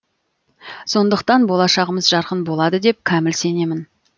сондықтан болашағымыз жарқын болады деп кәміл сенемін